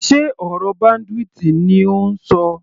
Sé ọ̀rọ̀ bandwidth ni ò ń ṣọ.